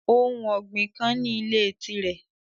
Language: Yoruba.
Ohun ọgbin kan ni ile tirẹ